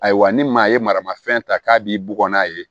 Ayiwa ni maa ye marama fɛn ta k'a b'i bugɔ n'a ye